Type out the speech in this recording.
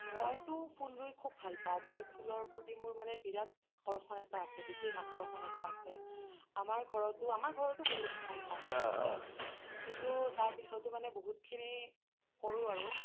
মইতু ফুল ৰুই খুব ভাল পাও মই ফুলৰ প্ৰতি মোৰ মানে বিৰাত আকৰ্ষণ বিশেষ আকৰ্ষণ এটা আছে আমাৰ ঘৰতো, আমাৰ ঘৰতো বহুত ক'ম ঠাই আচলতে কিন্তু তাৰ পিছ্তো মানে বহুতখিনি কৰো আৰু